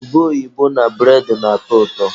Ube oyibo na bụredị na-atọ ụtọ.